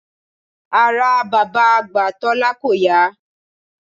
Ara bàbá àgbà Tólá kò yá